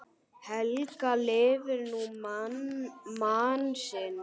Helga lifir nú mann sinn.